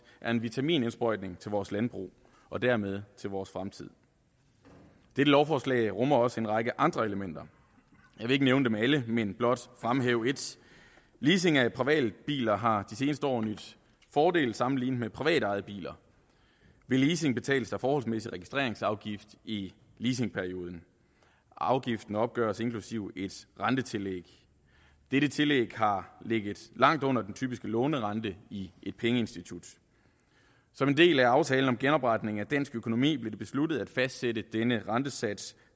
er en vitaminindsprøjtning til vores landbrug og dermed til vores fremtid dette lovforslag rummer også en række andre elementer jeg vil ikke nævne dem alle men blot fremhæve et leasing af privatbiler har de seneste år nydt fordel sammenlignet med privatejede biler ved leasing betales der forholdsmæssig registreringsafgift i leasingperioden og afgiften opgøres inklusive et rentetillæg dette tillæg har ligget langt under den typiske lånerente i et pengeinstitut som en del af aftalen om genopretning af dansk økonomi blev det besluttet at fastsætte denne rentesats